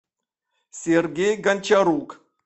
сергей гончарук